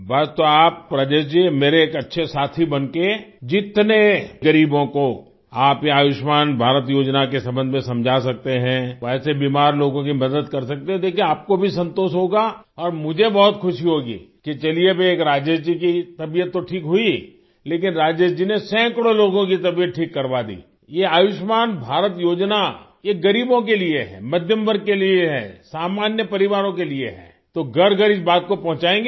बस तो आप आप राजेश जी मेरे एक अच्छे साथी बनके जितने ग़रीबों को आप ये आयुष्मान भारत योजना के संबंध में समझा सकते हैं वैसे बीमार लोगों की मदद कर सकते है देखिये आपको भी संतोष होगा और मुझे बहुत ख़ुशी होगी कि चलिए एक राजेश जी की तबीयत तो ठीक हुई लेकिन राजेश जी ने सैकड़ों लोगों की तबीयत ठीक करवा दी ये आयुष्मान भारत योजना ये गरीबों के लिए है मध्यम वर्ग के लिए है सामान्य परिवारों के लिए है तो घरघर इस बात को पहुचाएंगे आप